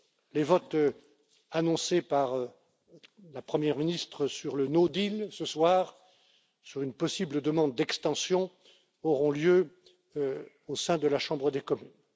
Les votes annoncés par la Première ministre sur le no deal ce soir, sur une possible demande d'extension, auront lieu au sein de la Chambre des communes.